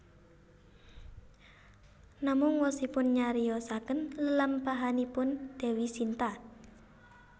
Namung wosipun nyariyosaken lelampahanipun Dewi Sinta